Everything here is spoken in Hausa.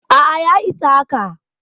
A'a ya isa haka.